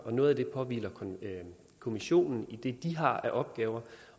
og noget af det påhviler kommissionen i det de har af opgaver